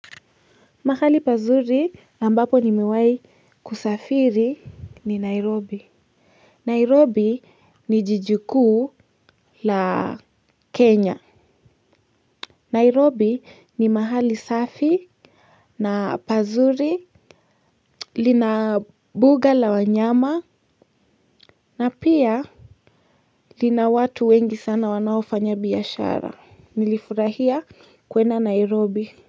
Mahali pazuri ambapo nimewahi kusafiri ni Nairobi Nairobi ni jiji kuu la Kenya Nairobi ni mahali safi na pazuri lina buga la wanyama na pia lina watu wengi sana wanaofanya biashara nilifurahia kwenda Nairobi.